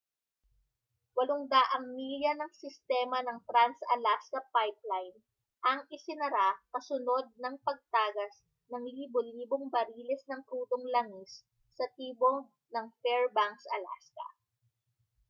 800 milya ng sistema ng trans-alaska pipeline ang isinara kasunod ng pagtagas ng libo-libong bariles ng krudong langis sa timog ng fairbanks alaska